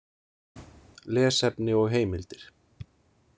Lesefni og heimildir